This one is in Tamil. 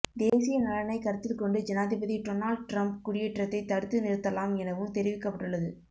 தேசிய நலனை கருத்தில் கொண்டு ஜனாதிபதி டொனால்ட் ட்ரம்ப் குடியேற்றத்தை தடுத்து நிறுத்தலாம் எனவும் தெரிவிக்கப்பட்டுள்ளது